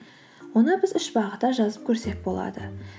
оны біз үш бағытта жазып көрсек болады